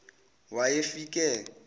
wayefike